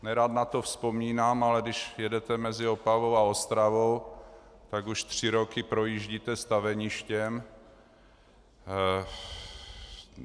Nerad na to vzpomínám, ale když jedete mezi Opavou a Ostravou, tak už tři roky projíždíte staveništěm.